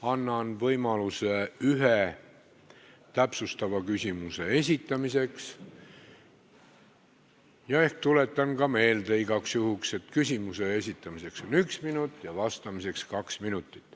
Annan võimaluse ühe täpsustava küsimuse esitamiseks ning tuletan igaks juhuks meelde, et küsimuse esitamiseks on aega üks minut ja vastamiseks kaks minutit.